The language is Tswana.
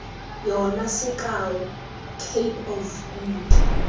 yona sekao cape of good